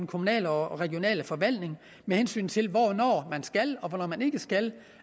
kommunale og regionale forvaltning med hensyn til hvornår man skal og hvornår man ikke skal